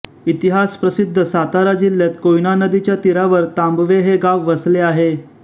इतिहास प्रसिद्ध सातारा जिल्हात कोयना नदीच्या तीरावर तांबवे हे गाव वसले आहे